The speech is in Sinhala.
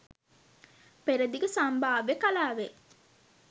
පෙරදිග සම්භාව්‍ය කලාවේ